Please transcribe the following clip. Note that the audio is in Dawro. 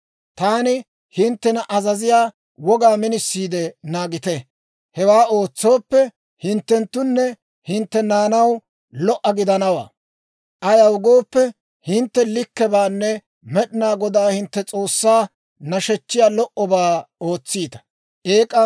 Taani hinttena azaziyaa wogaa minisiide naagite; hewaa ootsooppe, hinttenttoonne hintte naanaw lo"a gidanawaa; ayaw gooppe, hintte likkebaanne Med'inaa Godaa hintte S'oossaa nashechchiyaa lo"obaa ootsiita.